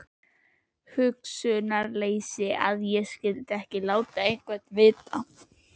Hugsunarleysi að ég skyldi ekki láta einhvern vita.